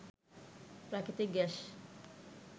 প্রাকৃতিক গ্যাস